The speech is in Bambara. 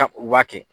u b'a kɛ